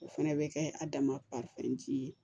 O fɛnɛ bɛ kɛ a damafɛn ji ye